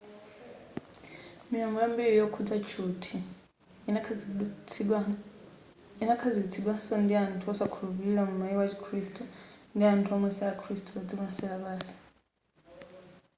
miyambo yambiri yokhudza tchuthi inakhazikitsidwanso ndi anthu osakhulupilira mu maiko a chikhirisitu ndi anthu omwe si akhirisitu padziko lonse lapansi